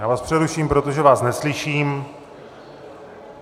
Já vás přeruším, protože vás neslyším.